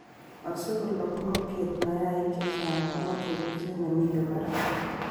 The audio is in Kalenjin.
asikolog ngokiet mayaik checheng komoche ripset nemiten barak